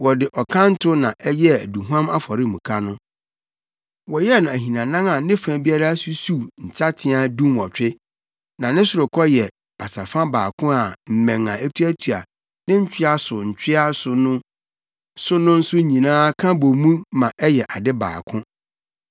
Wɔde ɔkanto na ɛyɛɛ aduhuam afɔremuka no. Wɔyɛɛ no ahinanan a ne fa biara susuw nsateaa dunwɔtwe. Na ne sorokɔ yɛ basafa baako a mmɛn a etuatua ne ntwea so ntwea so no nso nyinaa ka bɔ mu ma ɛyɛ ade baako.